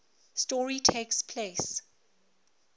story takes place